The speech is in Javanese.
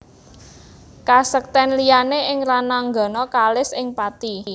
Kasektèn liyané ing rananggana kalis ing pati